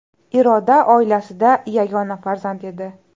Iroda oilasida yagona farzand edi.